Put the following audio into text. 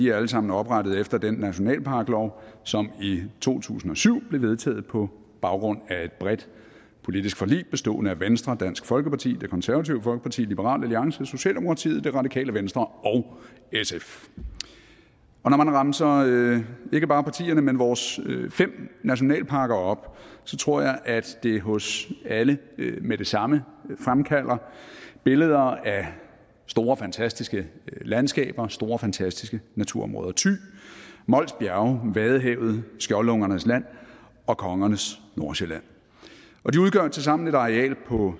er alle sammen oprettet efter den nationalparklov som i to tusind og syv blev vedtaget på baggrund af et bredt politisk forlig bestående af venstre dansk folkeparti det konservative folkeparti liberal alliance socialdemokratiet det radikale venstre og sf og når man remser ikke bare partierne men vores fem nationalparker op så tror jeg at det hos os alle med det samme fremkalder billeder af store fantastiske landskaber og store fantastiske naturområder thy mols bjerge vadehavet skjoldungernes land og kongernes nordsjælland og de udgør tilsammen et areal på